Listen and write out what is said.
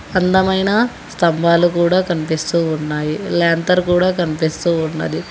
అందమైన స్తంభాలు కూడా కనిపిస్తూ ఉన్నాయి ల్యంతరు కూడా కనిపిస్తూ ఉన్నది.